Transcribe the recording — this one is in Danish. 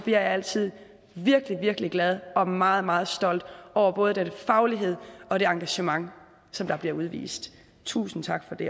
jeg altid virkelig virkelig glad og meget meget stolt over både den faglighed og det engagement som der bliver udvist tusind tak for det